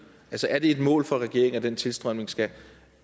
er det et mål for regeringen at den tilstrømning skal